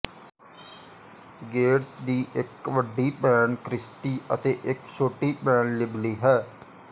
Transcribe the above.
Gates ਦੀ ਇੱਕ ਵੱਡੀ ਭੈਣ ਕ੍ਰਿਸਟੀ ਅਤੇ ਇੱਕ ਛੋਟੀ ਭੈਣ ਲਿਬਲੀ ਹੈ